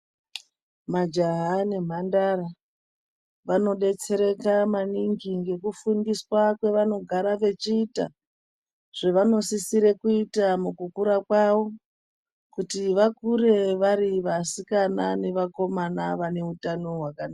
Majaha nemhandara vanodetsereka maningi ngekufundiswa kwevanogara vachiita zvevanosisire kuita mukukura kwavo kuti vakure vari vasikana nevakoma vane utano hwakanaka.